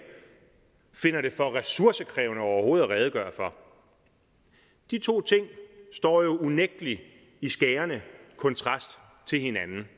finder det for ressourcekrævende overhovedet at redegøre for de to ting står jo unægtelig i skærende kontrast til hinanden